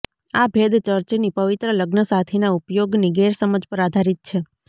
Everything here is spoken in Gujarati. આ ભેદ ચર્ચની પવિત્ર લગ્નસાથીના ઉપયોગની ગેરસમજ પર આધારિત છે